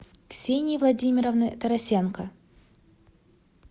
ксении владимировны тарасенко